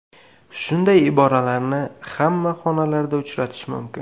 Shunday iboralarni hamma xonalarda uchratish mumkin.